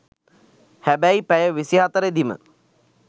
හැබැයි පැය විසි හතරෙදිම